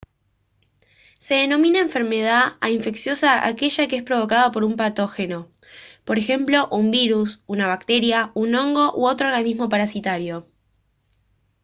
se denomina enfermedad a infecciosa aquella que es provocada por un patógeno por ejemplo un virus una bacteria un hongo u otro organismo parasitario